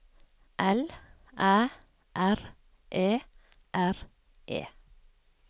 L Æ R E R E